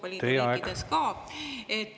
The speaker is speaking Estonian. … ja teistes Euroopa Liidu riikides ka.